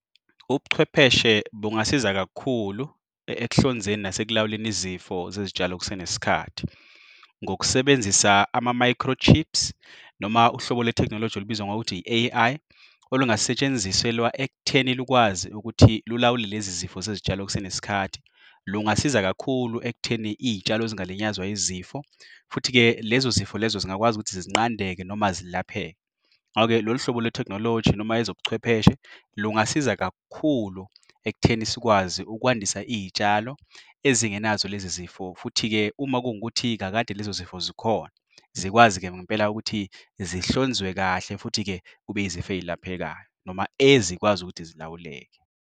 Ubuchwepheshe bungasiza kakhulu ekuhlonzeni nasekulawuleni izifo zezitshalo kusenesikhathi. Ngokusebenzisa ama-micro chips, noma uhlobo le-technology olubizwa ngokuthi yi-A_I. Olungasetshenziselwa ekutheni lukwazi ukuthi lilawule lezizifo zezitshalo kusenesikhathi. Lungasiza kakhulu ekutheni iyitshalo zingalinyazwa yizifo. Futhi-ke lezozifo lezo zingakwazi ukuthi zinqandeke noma zilapheke. Hayi-ke, lolu hlobo le-technology noma ezobuchwepheshe, lungasiza kakhulu ekutheni sikwazi ukwandisa iyitshalo ezingenazo lezizifo. Futhi-ke, uma kuwukuthi kakade lezizifo zikhona, zikwazi-ke ngempela ukuthi zinhlonzwe uzwe kahle. Futhi-ke kube izifo eyilaphekayo noma ezikwazi ukuthi zilawuleke.